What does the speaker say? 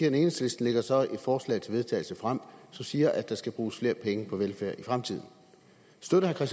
enhedslisten lægger så et forslag til vedtagelse frem som siger at der skal bruges flere penge på velfærd i fremtiden støtter herre